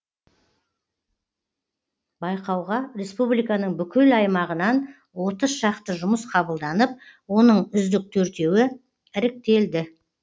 байқауға республиканың бүкіл аймағынан отыз шақты жұмыс қабылданып оның үздік төртеуі іріктелді